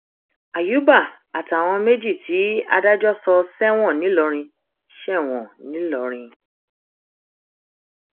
àyùbá àtàwọn méjì tí adájọ sọ sẹwọn ńìlọrin sẹwọn ńìlọrin